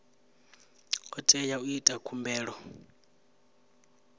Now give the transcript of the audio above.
o tea u ita khumbelo